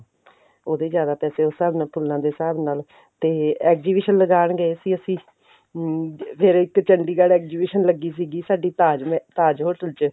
ਉਹਦੇ ਜ਼ਿਆਦਾ ਪੈਸੇ ਉਸ ਹਿਸਾਬ ਨਾਲ ਫੁੱਲਾਂ ਦੇ ਹਿਸਾਬ ਨਾਲ ਤੇ exhibition ਲਗਾਨ ਗਏ ਸੀ ਅਸੀਂ ਹਮ ਫਿਰ ਇੱਕ ਚੰਡੀਗੜ੍ਹ exhibition ਲੱਗੀ ਸੀਗੀ ਸਾਡੀ ਤਾਜ hotel ਚ